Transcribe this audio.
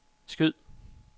skyd